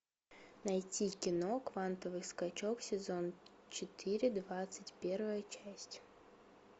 найти кино квантовый скачок сезон четыре двадцать первая часть